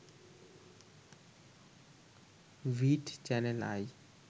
ভিট channel I